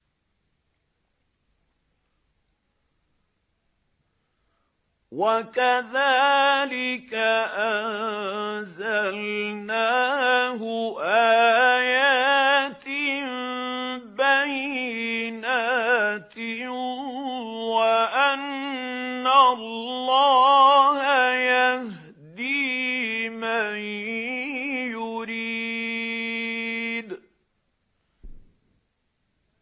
وَكَذَٰلِكَ أَنزَلْنَاهُ آيَاتٍ بَيِّنَاتٍ وَأَنَّ اللَّهَ يَهْدِي مَن يُرِيدُ